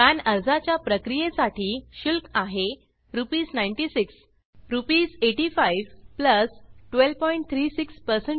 pan आर्जाच्या प्रक्रीये साठी शुल्क आहे आरएस9600 आरएस8500 1236 सेवा कर